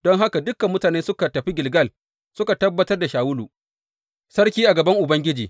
Don haka dukan mutane suka tafi Gilgal, suka tabbatar da Shawulu sarki a gaban Ubangiji.